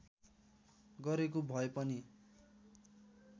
गरेको भए पनि